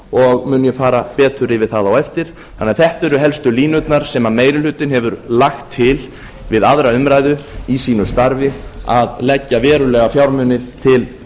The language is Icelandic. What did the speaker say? og mun ég fara betur yfir það á eftir þannig að þetta eru helstu línurnar sem meiri hlutinn hefur lagt til við aðra umræðu í sínu starfi að leggja verulega fjármuni til